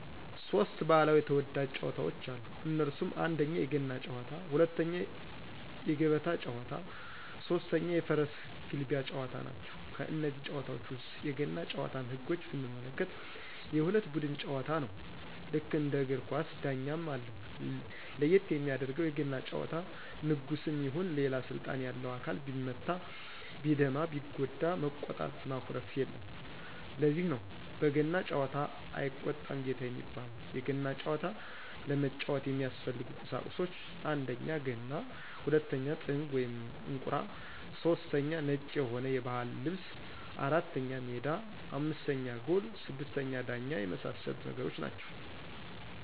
ሦስት ባህላዊ ተወዳጅ ጨዋታወች አሉ እነሱም 1: የገና ጨዋታ 2: የገበታ ጨዋታ 3: የፈረስ ግልቢያ ጨዋታ ናቸው። ከነዚህ ጨዋታወች ውስጥ የገና ጭዋታን ህጎች ብንመለከት የሁለት ቡድን ጨዋታ ነው ልክ እንደ እግር ኳስ ዳኛም አለው ለየት የሚያደርገው የገና ጨዋታ ንጉስም ይሁን ሌላ ስልጣን ያለው አካል ቢመታ ቢደማ ቢጎዳ መቆጣት ማኩረፍየለም ለዚህ ነው በገና ጨዋታ አይቆጣም ጌታ የሚባለው የገና ጨዋታ ለመጫወት የሚያስፈልጉ ቁሳቁሶች 1: ገና 2: ጥንግ /እንቁራ / 3: ነጭ የሆነ የባህል ልብስ 4: ሜዳ 5: ጎል 6: ዳኛ የመሳሰሉት ነገሮች ናቸው